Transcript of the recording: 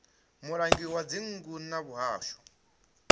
mulangi wa dzingu wa muhasho